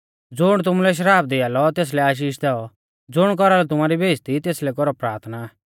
ज़ुण तुमुलै श्राप दिआ लौ तेसलै आशीष दैऔ ज़ुण कौरालौ तुमारी बेइज़्ज़ती तेसलै कौरौ प्राथना